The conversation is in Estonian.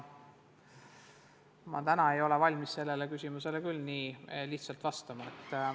Ma ei ole küll valmis sellele küsimusele täna nii lihtsalt vastama.